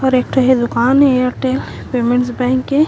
और एक ठो एह दुकान ए एयरटेल पेमेन्ट बैंक के--